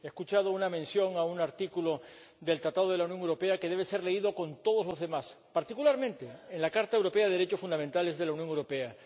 He escuchado una mención a un artículo del Tratado de la Unión Europea que debe ser leído con todos los demás, particularmente en la Carta de los Derechos Fundamentales de la Unión Europea.